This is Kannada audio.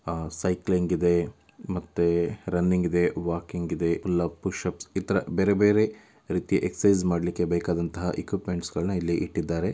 ''ಆಹ್ ಸೈಕ್ಲಿಂಗ್‌ ಇದೆ ಮತ್ತೆ ರನ್ನಿಂಗ್‌ ಇದೆ ವಾಕಿಂಗ್‌ ಇದೆ. ಎಲ್ಲಾ ಪುಶ್‌ ಅಪ್‌ ಇತರ ಬೇರೆ ಬೇರೆ ರೀತಿಯ ಎಕ್ಸರ್ಸೈಜ್ ಮಾಡ್ಲಿಕ್ಕೆ ಬೇಕಾದಂತಹ ಇಕ್ಯೂಪ್ಮೆಂಟ್ಸಗಳನ್ನ ಇಲ್ಲಿ ಇಟ್ಟಿದ್ದಾರೆ.''